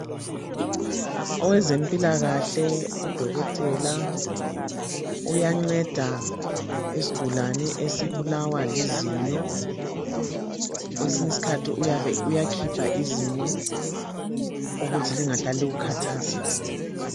Owezempilakahle udokotela uyanceda isigulane esibulawa lizinyo. Kwesinye isikhathi uyakhipha izinyo ukuthi lingahlali likukhathaza.